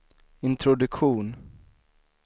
introduktion